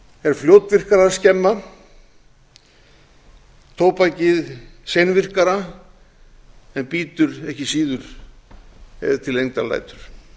er fljótvirkara að skemma tóbakið seinvirkara en bítur ekki síður ef til lengdar lætur